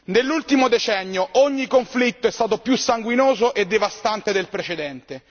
Nell'ultimo decennio ogni conflitto è stato più sanguinoso e devastante del precedente.